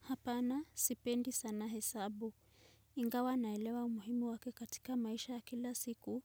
Hapana sipendi sana. Hesabu. Ingawa naelewa umuhimu wake katika maisha ya kila siku